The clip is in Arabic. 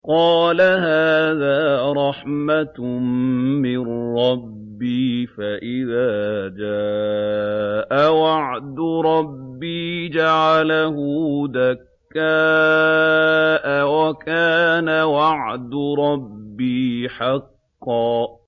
قَالَ هَٰذَا رَحْمَةٌ مِّن رَّبِّي ۖ فَإِذَا جَاءَ وَعْدُ رَبِّي جَعَلَهُ دَكَّاءَ ۖ وَكَانَ وَعْدُ رَبِّي حَقًّا